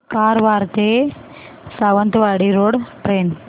कारवार ते Sawantwadi road train